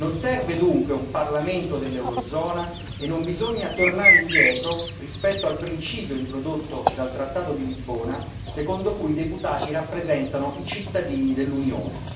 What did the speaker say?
Non serve dunque un Parlamento dell'eurozona e non bisogna tornare indietro rispetto al principio introdotto dal trattato di Lisbona, secondo cui i deputati rappresentano i cittadini dell'Unione.